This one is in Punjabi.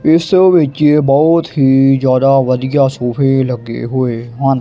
ਇੱਸ ਵਿੱਚ ਬਹੁਤ ਹੀ ਜਿਆਦਾ ਵਧੀਆ ਸੋਫ਼ੇ ਵੀ ਲੱਗੇ ਹੋਏ ਹਨ।